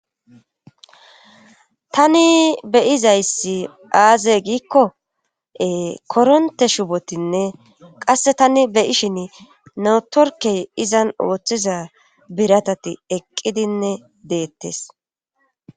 tani beyizayssi aaze giikko koronte shubotinne qasse tani beyishin netorkey izan ooththiza biratati eqqidinne deettes